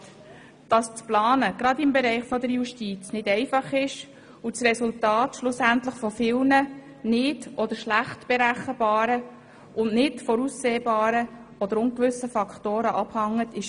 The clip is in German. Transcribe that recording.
Es ist eine Tatsache, dass das Planen gerade im Bereich der Justiz nicht einfach ist, und das Resultat schlussendlich von vielen nicht oder schlecht berechenbaren und nicht voraussehbaren Faktoren abhängt.